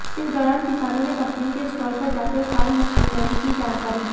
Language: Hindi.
इस दौरान किसानों ने कंपनी के स्टाल पर जाकर फार्म मशीनरी की जानकारी ली